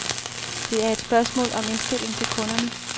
Det er et spørgsmål om indstilling til kunderne.